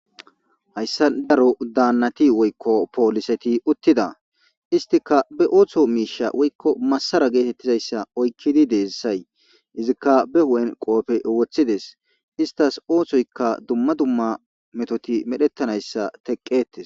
hayssa daro daannati woykko pooliseti uttida istika be ooththo miisha woykko massara geetettizayssa oykkidi deessay izikka be hu7en qoope woththides istas oothsoykka dumma dumma metoti medhettanayssa teqqetes